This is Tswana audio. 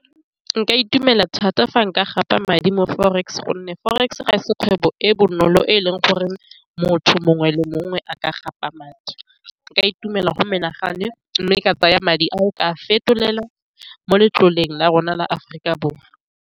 Nka itumela thata fa nka gapa madi mo forex gonne forex ga e se kgwebo e bonolo e leng gore motho mongwe le mongwe a ka gapa madi, nka itumela go menagano mme ka tsaya madi a o ka fetolelwa mo letloleng la rona la Aforika Borwa.